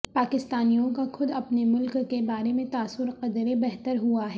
پاکستانیوں کا خود اپنے ملک کے بارے میں تاثر قدرے بہتر ہوا ہے